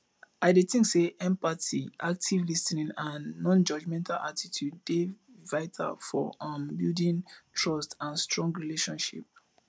i dey think say empathy active lis ten ing and nonjudgmental attitude dey vital for um building trust and strong relationships